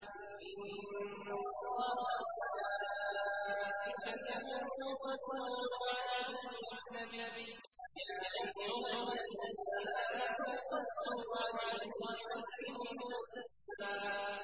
إِنَّ اللَّهَ وَمَلَائِكَتَهُ يُصَلُّونَ عَلَى النَّبِيِّ ۚ يَا أَيُّهَا الَّذِينَ آمَنُوا صَلُّوا عَلَيْهِ وَسَلِّمُوا تَسْلِيمًا